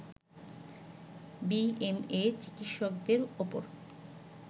BMA চিকিৎসকদের ওপর